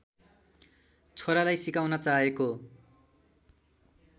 छोरालाई सिकाउन चाहेको